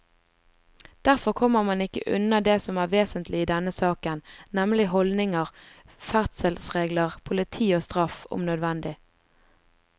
Derfor kommer man ikke unna det som er vesentlig i denne saken, nemlig holdninger, ferdselsregler, politi og straff, om nødvendig.